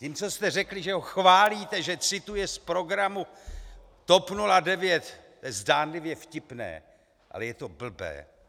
Tím, co jste řekli, že ho chválíte, že cituje z programu TOP 09 - to je zdánlivě vtipné, ale je to blbé.